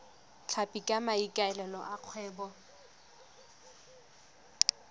tlhapi ka maikaelelo a kgwebo